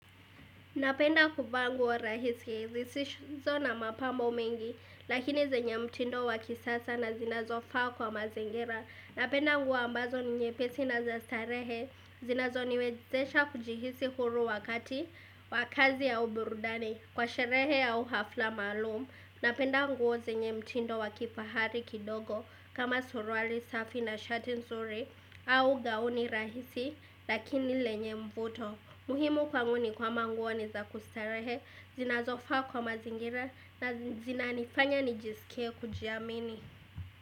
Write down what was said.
Napenda kuvaa nguo rahisi, zisizo na mapambo mengi, lakini zenye mtindo wa kisasa na zinazofaa kwa mazingira. Napenda nguo ambazo ni nyepesi na za starehe, zinazoniwezesha kujihisi huru wakati, wa kazi ya au burudani, kwa sherehe au hafla maalum. Napenda nguo zenye mtindo wa kifahari kidogo, kama suruali safi na shati nzuri, au gauni rahisi, lakini lenye mvuto. Muhimu kwangu ni kwamba nguo nizakustarehe, zinazofaa kwa mazingira na zina nifanya nijisikie kujiamini.